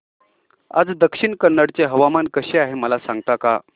आज दक्षिण कन्नड चे हवामान कसे आहे मला सांगता का